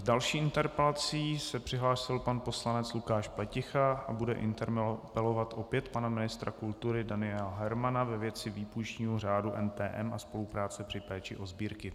S další interpelací se přihlásil pan poslanec Lukáš Pleticha a bude interpelovat opět pana ministra kultury Daniela Hermana ve věci výpůjčního řádu NTM a spolupráce při péči o sbírky.